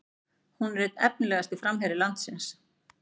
Hún er einn efnilegasti framherji landsins